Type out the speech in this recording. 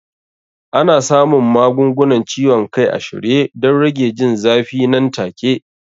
Ana samun magungunan ciwon kai a shirye don rage jin zafi nan take.